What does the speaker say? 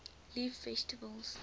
leaf vegetables